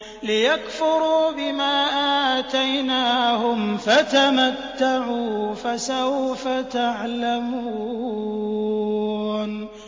لِيَكْفُرُوا بِمَا آتَيْنَاهُمْ ۚ فَتَمَتَّعُوا ۖ فَسَوْفَ تَعْلَمُونَ